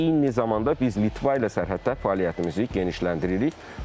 Eyni zamanda biz Litva ilə sərhəddə fəaliyyətimizi genişləndiririk.